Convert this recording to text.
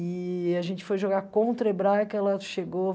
E a gente foi jogar contra a Hebraica, ela chegou...